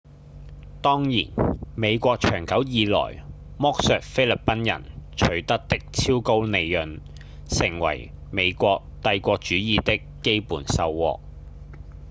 當然美國長久以來剝削菲律賓人取得的超高利潤成為美國帝國主義的基本收穫